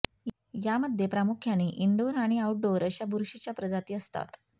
यामध्ये प्रामुख्याने इनडोअर आणि आउटडोअर अशा बुरशीच्या प्रजाती असतात